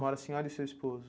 Mora a senhora e o seu esposo?